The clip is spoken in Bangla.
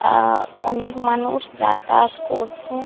আহ অনেক মানুষ যাতায়াত করছে।